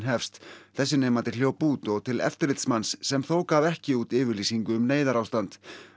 hefst þessi nemandi hljóp út og til eftirlitsmanns sem þó gaf ekki út yfirlýsingu um neyðarástand